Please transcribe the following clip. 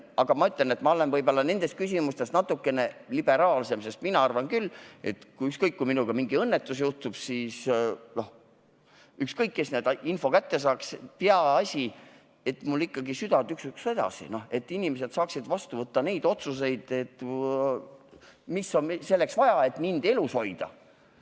Aga ma ütlen, et ma olen nendes küsimustes natukene liberaalsem, sest mina arvan küll, et kui minuga mingisugune õnnetus juhtub, siis on mul ükskõik, kes selle info kätte saab, peaasi, et mul süda edasi tuksuks ehk et inimesed saaksid vastu võtta need otsused, mida on vaja selleks, et mind elus hoida.